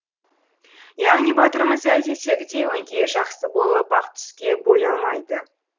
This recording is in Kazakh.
яғни батырымыз әдеттегідей өңкей жақсы болып ақ түске боялмайды